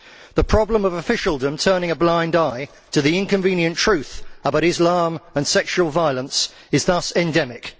The problem of officialdom turning a blind eye to the inconvenient truth about Islam and sexual violence is thus endemic.